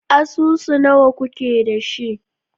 Asusu nawa kuke da shi?